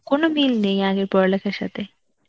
কোন মিল নেই আগে পড়ালেখার সাথে.